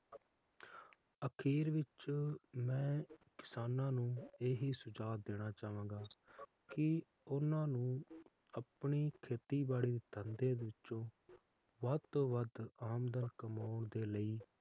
ਅਖੀਰ ਵਿਚ ਮੈਂ ਕਿਸਾਨਾਂ ਨੂੰ ਇਹ ਹੀ ਸੁਝਾਹ ਦੇਣਾ ਚਾਹਂਗਾ ਕਿ ਓਹਨਾ ਨੂੰ ਆਪਣੇ ਖੇਤੀਬਾੜੀ ਦੇ ਧੰਦੇ ਵਿੱਚੋ ਵੱਧ ਤੋਂ ਵੱਧ ਆਮਦਨ ਕਮਾਉਣ ਦੇ ਲਈ